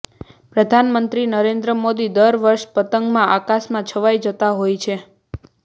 પ્રધાનમંત્રી નરેન્દ્ર મોદી દર વર્ષે પતંગમાં આકાશમાં છવાઈ જતાં હોય છે